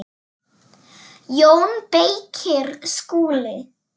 JÓN BEYKIR: Skúli!